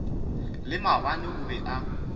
le maabane o be a